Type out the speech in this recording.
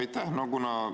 Aitäh!